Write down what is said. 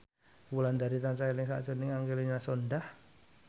Wulandari tansah eling sakjroning Angelina Sondakh